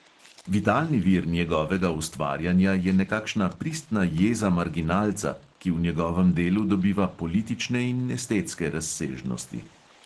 Vitalni vir njegovega ustvarjanja je nekakšna pristna jeza marginalca, ki v njegovem delu dobiva politične in estetske razsežnosti.